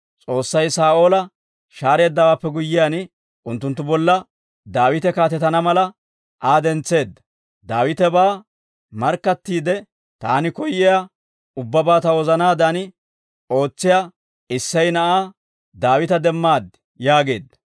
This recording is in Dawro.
S'oossay Saa'oola shaareeddawaappe guyyiyaan, unttunttu bolla Daawite kaatetana mala, Aa dentseedda; Daawitebaa markkattiidde, ‹Taani koyyiyaa ubbabaa ta wozanaadan ootsiyaa Issey na'aa Daawita demmaad› yaageedda.